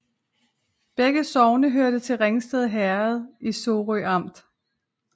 Begge sogne hørte til Ringsted Herred i Sorø Amt